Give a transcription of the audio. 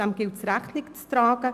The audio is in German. Diesem gilt es Rechnung zu tragen.